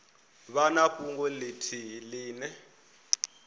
vha na fhungo ithihi ine